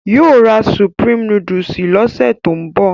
Yóò ra Supreme núdúsì lọ́sẹ̀ tó ń bọ̀